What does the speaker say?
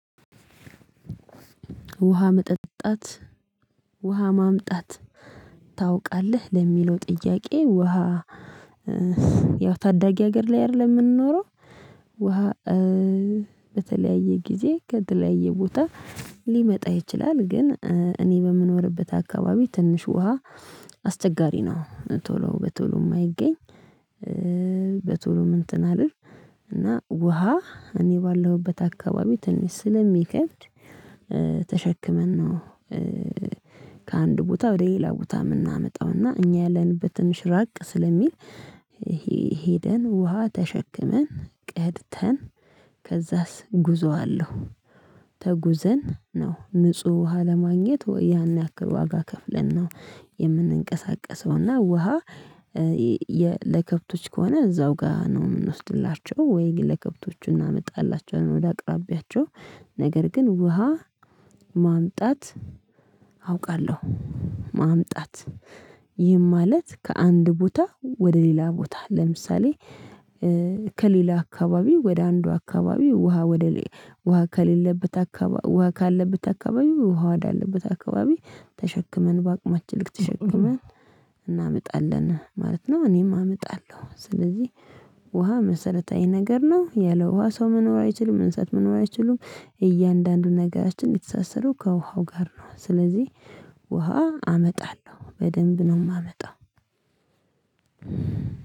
ውሃ መጠጣት ውሃ ማምጣት ታውቃለህ ለሚለው ጥያቄ ውሃ ያው ታዳጊ ሀገር ላይ አይደለም የምንኖረው። ውሃ በተለያየ ጊዜ ከተለያየ ቦታ ሊመጣ ይችላል ግን እኔ በምኖርበት አካባቢ ትንሽ ውሃ አስቸጋሪ ነው። ቶሎ በቶሎ የማይገኝ በቶሎ ምን እንትን አልል እና ውሃ እኔ ባለሁበት አካባቢ ትንሽ ስለሚከብድ። ተሸክመን ነው። ከአንድ ቦታ ወደ ሌላ ቦታ የምናመጣውና እኛ ያለንበት ትንሽ ራቅ ስለሚል። ሄደን ውሃ ተሸክመን ቀድተን ከዛስ ጉዞ አለው። ተጉዘን ነው ንጹህ ውሃ ለማግኘት ወይ ያን ያክል ዋጋ ከፍለን ነው የምንንቀሳቀሰው። እና ውሃ ለከብቶች ከሆነ እዛው ጋር ነው የምንወስድላቸው ወይ ለከብቶቹ እናመጣላቸዋለን ወደ አቅራቢያቸው። ነገር ግን ውሃ ማምጣት አውቃለሁ። ማምጣት ይህም ማለት ከአንድ ቦታ ወደ ሌላ ቦታ ለምሳሌ ከሌላ አካባቢ ወደ አንዱ አካባቢ ውሃ ወደ ውሃ ከሌለበት አካባቢ ውሃ ካለበት አካባቢ ውሃ ወደ አለበት አካባቢ ተሸክመን በአቅማችን ልክ ተሸክመን እናመጣለን ማለት ነው። እኔም አመጣለሁ። ስለዚህ ውሃ መሰረታዊ ነገር ነው ያለ ውሃ ሰው መኖር አይችልም። እንሰሳት መኖር አይችሉም። እያንዳንዱ ነገራችን የተሳሰረው ከውሃው ጋር ነው። ስለዚህ ውሃ አመጣለሁ በደንብ ነው ማመጣው።